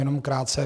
Jenom krátce.